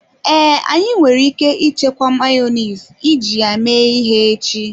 Ee, anyị nwere ike ichekwa Mayonezi iji ya mee ihe echi.